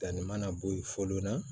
Danni mana bɔ yen fɔ na